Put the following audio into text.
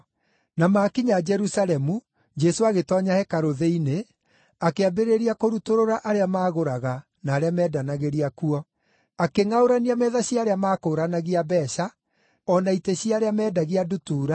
Na maakinya Jerusalemu, Jesũ agĩtoonya hekarũ thĩinĩ, akĩambĩrĩria kũrutũrũra arĩa maagũraga, na arĩa meendanagĩria kuo. Akĩngʼaũrania metha cia arĩa maakũũranagia mbeeca, o na itĩ cia arĩa meendagia ndutura,